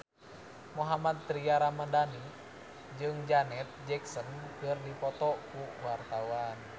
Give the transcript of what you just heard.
Mohammad Tria Ramadhani jeung Janet Jackson keur dipoto ku wartawan